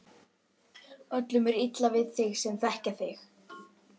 Öllum er illa við þig sem þekkja þig!